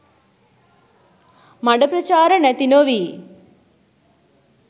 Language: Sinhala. මඩ ප්‍රචාර නැති නොවී